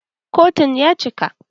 Kotun ya cika.